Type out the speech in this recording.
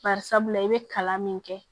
Bari sabula i bɛ kalan min kɛ